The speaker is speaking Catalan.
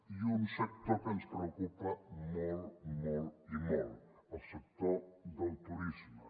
i un sector que ens preocupa molt molt i molt el sector del turisme